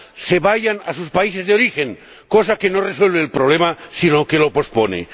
vida, se vayan a sus países de origen ―cosa que no resuelve el problema sino que lo pospone―.